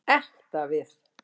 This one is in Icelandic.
Ekta við.